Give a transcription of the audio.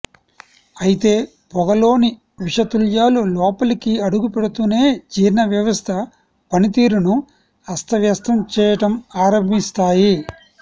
అయితే పొగలోని విషతుల్యాలు లోపలికి అడుగుపెడుతూనే జీర్ణ వ్యవస్థ పనితీరును అస్తవ్యస్తం చేయటం ఆరంభిస్తాయి